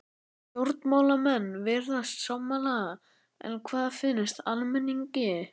Stjórnmálamenn virðast sammála en hvað finnst almenningi?